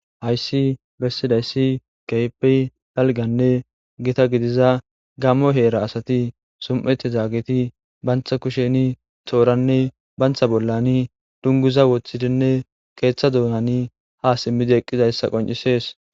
hayssi bessidayssi keypey talganne gita gidiza gammo heera asati sum7eti zaageti bantha kusheni xooranne bantha bollani dunguza woththidinne keeththa duunani ha simmidi eqqizayssa qoncisees